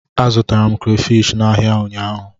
Azụtara m krafish n'ahịa ụnyaahụ.